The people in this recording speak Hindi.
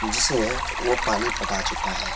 जिसमें वो पानी पटा चुका है।